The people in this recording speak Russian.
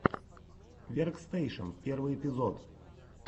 веркстэйшен первый эпизод